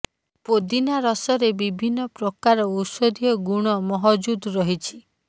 ପୋଦିନା ରସରେ ବିଭିନ୍ନ ପ୍ରକାର ଔଷଧୀୟ ଗୁଣ ମହଜୁଦ୍ ରହିଛି